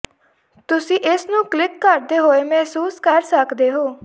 ਤੁਸੀਂ ਇਸ ਨੂੰ ਕਲਿੱਕ ਕਰਦੇ ਹੋਏ ਮਹਿਸੂਸ ਕਰ ਸਕਦੇ ਹੋ